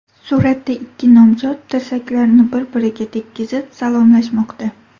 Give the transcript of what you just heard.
Suratda ikki nomzod tirsaklarini bir-biriga tekkizib, salomlashmoqda.